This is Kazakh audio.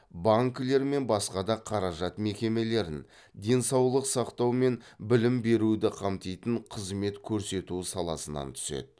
банкілер мен басқа да қаражат мекемелерін денсаулық сақтау мен білім беруді қамтитын қызмет көрсету саласынан түседі